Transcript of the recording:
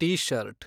T shirt